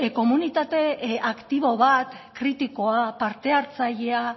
komunitate aktibo bat kritikoa partehartzailea